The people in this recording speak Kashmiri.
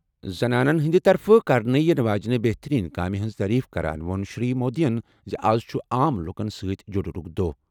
زنانَن ہٕنٛدِ طرفہٕ کرنہٕ یِنہٕ واجنہِ بہتٔریٖن کامہِ ہٕنٛز تعریف کران ووٚن شری مودیَن زِ آز چھُ عام لوٗکَن سۭتۍ جُڑنُک دۄہ۔